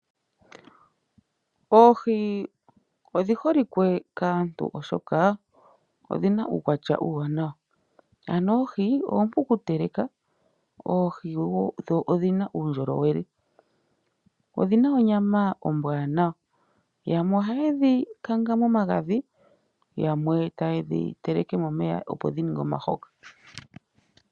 Oohi odhi holike kaantu oshoka odhina uukwatya uuwanawa. Oohi oompu okuteleka, dho odhina uundjolowele. Odhina onyama ombwaanawa. Yamwe ohaye dhi kanga momagadhi, yamwe tayedhi teleke momeya dhininge omahoka.